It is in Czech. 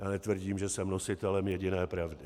Já netvrdím, že jsem nositelem jediné pravdy.